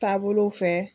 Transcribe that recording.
Taabolow fɛ